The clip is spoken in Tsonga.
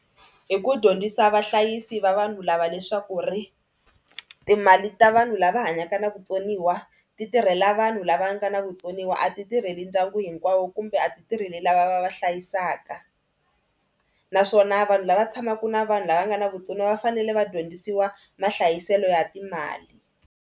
Hi ku dyondzisa vahlayisi va vanhu lava leswaku ri timali ta vanhu lava hanyaka na vutsoniwa ti tirhela vanhu lava nga na vutsoniwa a ti tirheli ndyangwini hinkwawo kumbe a ti tirheli lava va va hlayisaka naswona vanhu lava tshamaka na vanhu lava nga na vutsoniwa va fanele va dyondzisiwa mahlayiselo ya timali.